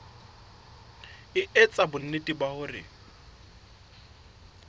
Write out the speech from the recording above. e etsa bonnete ba hore